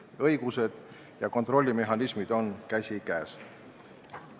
Õigused ja kontrollimehhanismid peaksid käima käsikäes.